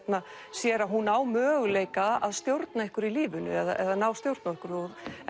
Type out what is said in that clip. sér að hún á möguleika að stjórna einhverju í lífinu eða ná stjórn á einhverju